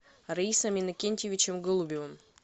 раисом иннокентьевичем голубевым